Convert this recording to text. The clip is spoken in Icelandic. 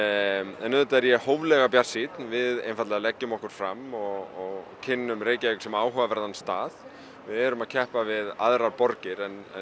auðvitað er ég hóflega bjartsýnn við einfaldlega leggjum okkur fram og kynnum Reykjavík sem áhugaverðan stað við erum að keppa við aðrar borgir en